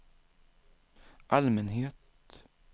allmänhet